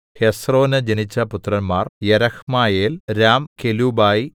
ഹെസ്രോന് ജനിച്ച പുത്രന്മാർ യെരഹ്മയേൽ രാം കെലൂബായി